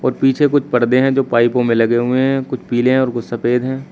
और पीछे कुछ पर्दे हैं जो पाइपो में लगे हुए हैं कुछ पीले और कुछ सफेद हैं।